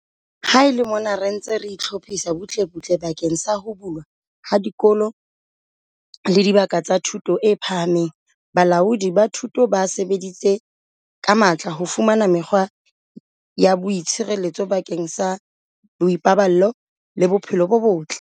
Ha e le mona re ntse re hlophisa butlebutle bakeng sa ho bulwa ha dikolo le dibaka tsa thuto e phahameng, balaodi ba thuto ba sebeditse ka matla ho fumana mekgwa ya boitshireletso bakeng sa boipaballo le bophelo bo botle.